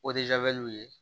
ye